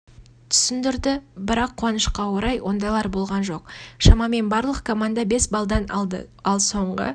түсіндірді бірақ қуанышқа орай ондайлар болған жоқ шамамен барлық команда бес балдан алды ал соңғы